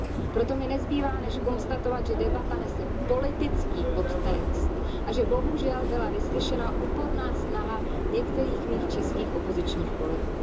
Proto mi nezbývá než konstatovat, že debata nese politický podtext a že bohužel byla vyslyšena úporná snaha některých mých českých opozičních kolegů.